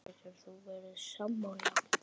Getur þú verið sammála því?